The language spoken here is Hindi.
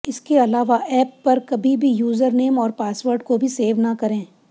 इसके अलावा ऐप पर कभी भी यूजरनेम और पासवर्ड को भी सेव ना करें